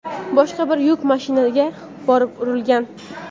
boshqa bir yuk mashinasiga borib urilgan.